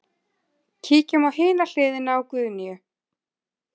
Kíkjum á hina hliðina á Guðnýju.